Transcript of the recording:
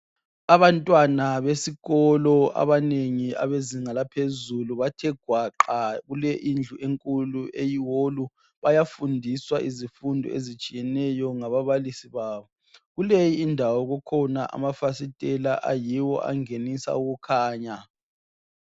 Abantwana besikolo abanengi abezinga laphezulu, bathe gwaqa kule indlu enkulu eyi wolu bayafundiswa izifundo ezitshiyeneyo ngaBabalisi babo. Kuleyindawo kulamafasitela ayiwo angenisa ukukhanya.